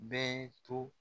Bɛɛ to